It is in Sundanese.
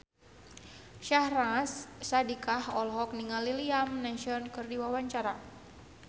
Syahnaz Sadiqah olohok ningali Liam Neeson keur diwawancara